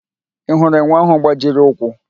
Ị hụrụ enwe ahụ gbajiri ụkwụ?